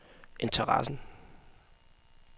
interessen